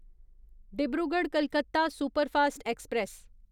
Dibrugarh Calcutta superfast express